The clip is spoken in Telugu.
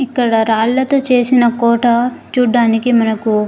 ఇక్కడ రాళ్ళతో చేసిన కోట చూడటానికి మనకి.